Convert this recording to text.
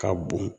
Ka bon